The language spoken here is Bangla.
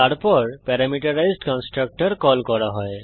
তারপর প্যারামিটারাইজড কন্সট্রকটর কল করা হয়